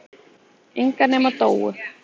Enga nema Dóu.